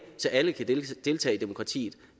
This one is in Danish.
så alle kan deltage i demokratiet